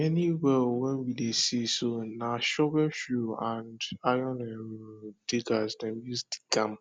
many well wen we dey see so na shovelshoe and iron um diggers dem use dig am